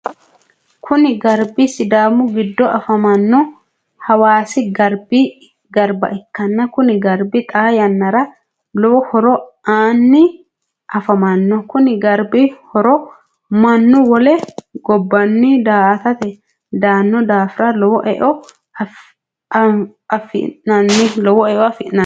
Kunni garbi sidaamu gido afamano hawaasi garba ikanna kunni garbi xaa yannara lowo horo aanni afamano. Konni garbi horo mannu wole gobanni daa'atate daano daafira lowo e'eo afi'nanni.